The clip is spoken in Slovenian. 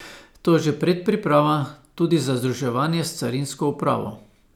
To je že predpriprava tudi za združevanje s carinsko upravo.